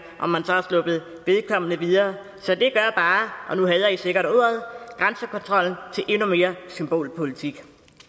om man så har sluppet vedkommende videre så det gør bare og nu hader i sikkert ordet grænsekontrollen til endnu mere symbolpolitik